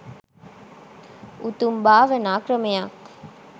උතුම් භාවනා ක්‍රමයක්.